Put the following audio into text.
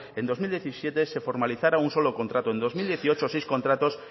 en dos mil diecisiete se formalizara un solo contrato en dos mil dieciocho seis contratos